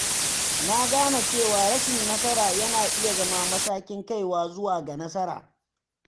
Na gane cewa rashin nasara yana iya zama matakin kaiwa zuwa ga nasara.